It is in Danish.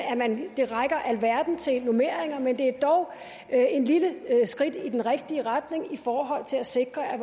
det rækker alverden til normeringer men det er dog et lille skridt i den rigtige retning i forhold til at sikre at